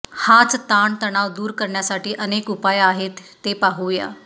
हाच ताण तणाव दूर करण्यासाठी अनेक उपाय आहेत ते पाहूया